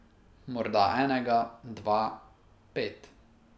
Morda enega, dva, pet ...